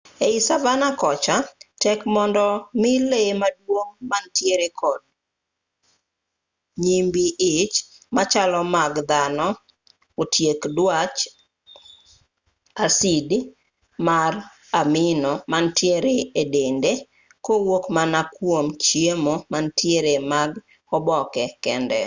ei savanna kocha tek mondo mi lee maduong' manitire kod nyimbii ich machalo mag dhano otiek dwach asid mar amino manitie e dende kowuok mana kwom chiemo manitie mag oboke kende